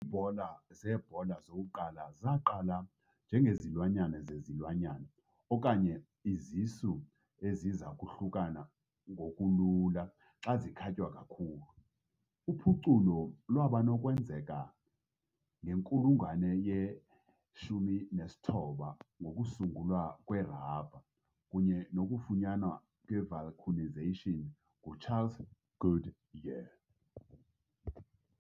Iibhola zebhola zokuqala zaqala njengezilwanyana zezilwanyana okanye izisu eziza kuhlukana ngokulula xa zikhatywa kakhulu. Uphuculo lwaba nokwenzeka ngenkulungwane ye-19 ngokusungulwa kwerabha kunye nokufunyanwa kwe-vulcanization nguCharles Goodyear .